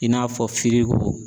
I n'a fɔ